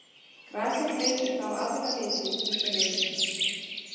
Grasið gleypir þá aðra liti hvíta ljóssins.